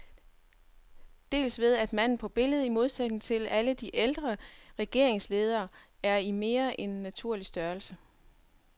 Dels ved at manden på billedet, i modsætning til alle de ældre regeringsledere, er i mere end naturlig størrelse.